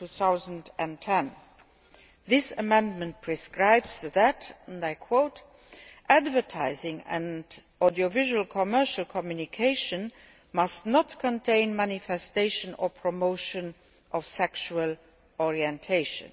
2010. This amendment prescribes that advertising and audiovisual commercial communication must not contain manifestation or promotion of sexual orientation'.